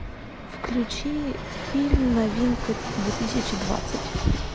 включи фильм новинка две тысячи двадцать